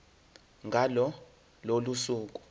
ngalo lolo suku